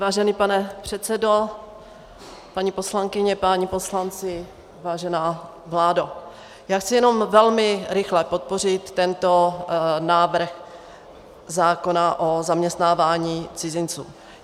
Vážený pane předsedo, paní poslankyně, páni poslanci, vážená vládo, já chci jenom velmi rychle podpořit tento návrh zákona o zaměstnávání cizinců.